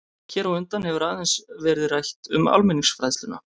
Hér á undan hefur aðeins verið rætt um almenningsfræðsluna.